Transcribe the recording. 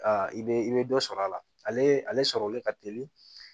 i bɛ i bɛ dɔ sɔrɔ a la ale sɔrɔlen ka teli